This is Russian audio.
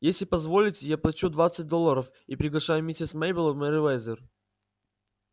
если позволите я плачу двадцать долларов и приглашаю миссис мейбелл в мерриуэзер